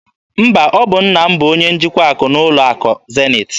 Mba, ọ bụ nna m bụ onye njikwa akụ n'ụlọ akụ Zenith.